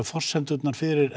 forsendurnar fyrir